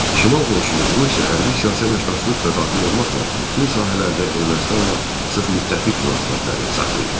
Şimal qonşumuz Rusiya hərbi siyasi əməkdaşlıq da daxil olmaqla bütün sahələrdə Ermənistanla sıx müttəfiq münasibətləri saxlayır.